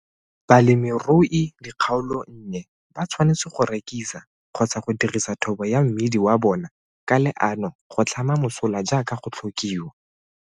Balemirudikgaolonnye ba tshwanetse go rekisa kgotsa go dirisa thobo ya mmidi wa bona ka leano go tlhama mosola jaaka go tlhokiwa.